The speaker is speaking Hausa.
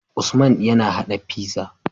Usman yAna hada pizza